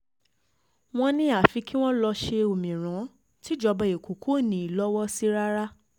wọ́n ní àfi kí wọ́n lọ́ọ́ ṣe òmíràn tìjọba ẹ̀kọ́ kò ní í í lọ́wọ́ sí rárá